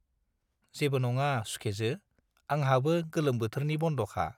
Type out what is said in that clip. जेबो नङा सुखेजो, आंहाबो गोलोम बोथोरनि बन्दखा।